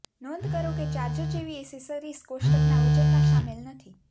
નોંધ કરો કે ચાર્જર જેવી એક્સેસરીઝ કોષ્ટકના વજનમાં શામેલ નથી